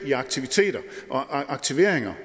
i aktiviteter og aktiveringer